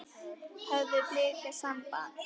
Höfðu Blikar samband?